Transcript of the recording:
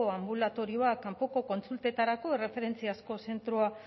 anbulatorioa kanpoko kontsultetarako erreferentziazko zentroa